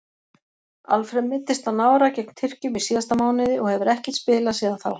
Alfreð meiddist á nára gegn Tyrkjum í síðasta mánuði og hefur ekkert spilað síðan þá.